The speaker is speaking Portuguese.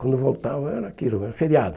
Quando voltavam era aquilo né, feriado.